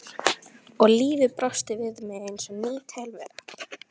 Og lífið brosti við mér eins og ný tilvera.